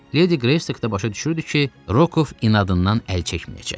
Ledi Qreystok da başa düşürdü ki, Rokov inadından əl çəkməyəcək.